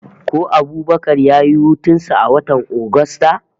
Ko Abubakar ya yi hutun sa a watan Agusta?